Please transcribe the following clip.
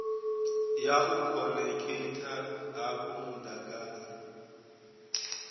ya u khonekhitha hafhu mudagasi